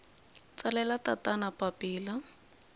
tsalela tatana papila